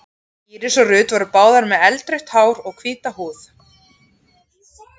Íris og Ruth voru báðar með eldrautt hár og hvíta húð.